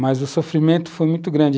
mas o sofrimento foi muito grande.